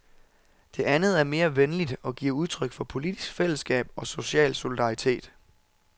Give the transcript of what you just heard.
Det andet er mere venligt og giver udtryk for politisk fællesskab og social solidaritet.